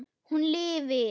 Hún lifir.